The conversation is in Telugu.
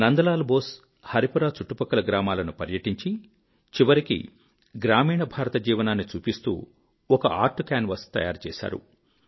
నందలాల్ బోస్ హరిపురా చుట్టుపక్కల గ్రామాలను పర్యటించి చివరికి గ్రామీణ భారత జీవనాన్ని చూపిస్తూ ఒక ఆర్ట్ కాన్వాస్ తయారుచేశారు